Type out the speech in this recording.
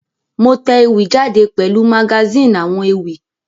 Mo te ewì jáde pèlu magazine àwon ewì